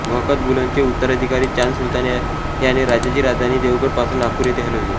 बहकत बुलंदचे उत्तराधिकारी चांद सुलतान याने राज्याची राजधानी देवगड पासून नागपूर येथे हलविली